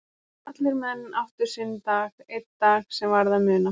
Allir menn áttu sinn dag, einn dag sem varð að muna.